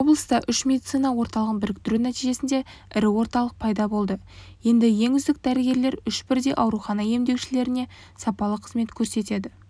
облыста үш медицина орталығын біріктіру нәтижесінде ірі орталық пайда болды енді ең үздік дәрігерлер үш бірдей аурухана емделушілеріне сапалы қызмет көрсете